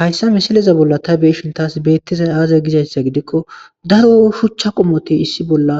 Hayssa missileza bolla tay beishin tasi bettizay aaze gizayssa gidikko daaro shuchcha qommoti issi bolla